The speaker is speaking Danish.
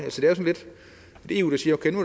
er eu der siger